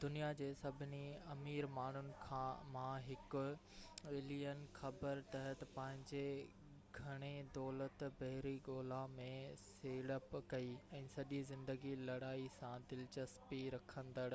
دنيا جي سڀني امير ماڻهن مان هڪ ايلن خبر تحت پنهنجي گهڻي دولت بحري ڳولا ۾ سيڙپ ڪئي ۽ سڄي زندگي لڙائي سان دلچسپي رکندڙ